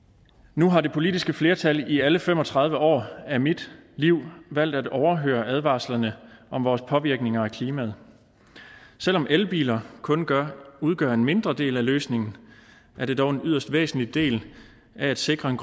nu har det politiske flertal i alle fem og tredive år af mit liv valgt at overhøre advarslerne om vores påvirkninger af klimaet selv om elbiler kun udgør udgør en mindre del af løsningen er det dog en yderst væsentlig del af at sikre en